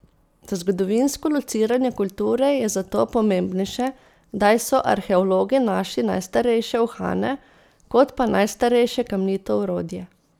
Za zgodovinsko lociranje kulture je zato pomembnejše, kdaj so arheologi našli najstarejše uhane, kot pa najstarejše kamnito orodje.